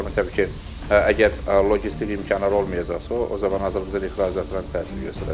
O baxımdan təbii ki, əgər loqistik imkanlar olmayacaqsa, o zaman Azərbaycan ixracatına təsir göstərəcək.